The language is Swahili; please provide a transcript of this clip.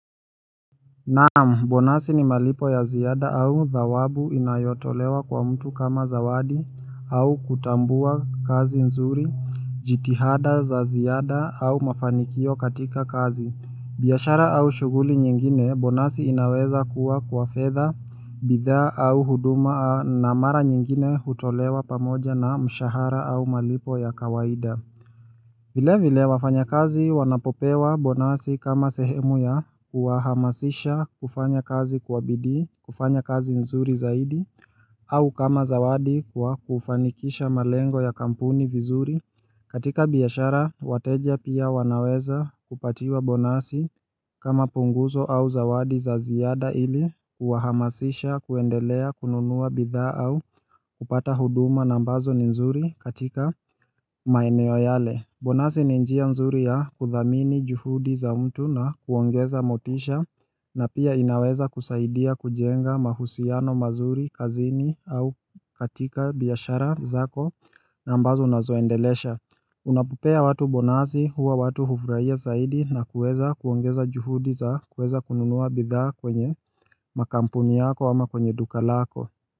Naam, bonasi ni malipo ya ziada au dhawabu inayotolewa kwa mtu kama zawadi au kutambua kazi nzuri, jitihada za ziada au mafanikio katika kazi. Biashara au shughuli nyingine, bonasi inaweza kuwa kwa fedha, bidhaa au huduma na mara nyingine hutolewa pamoja na mshahara au malipo ya kawaida. Vile vile wafanyakazi wanapopewa bonasi kama sehemu ya kuwahamasisha kufanya kazi kwa bidii kufanya kazi nzuri zaidi au kama zawadi kwa kufanikisha malengo ya kampuni vizuri. Katika biashara wateja pia wanaweza kupatiwa bonasi kama punguzo au zawadi za ziada ili kuwahamasisha kuendelea kununua bidhaa au kupata huduma nambazo ni nzuri katika maeneo yale. Bonasi ni njia nzuri ya kudhamini juhudi za mtu na kuongeza motisha na pia inaweza kusaidia kujenga mahusiano mazuri kazini au katika biashara zako na ambazo unazoendelesha Unapo pea watu bonasi huwa watu hufurahia zaidi na kuweza kuongeza juhudi za kuweza kununua bidhaa kwenye makampuni yako ama kwenye duka lako.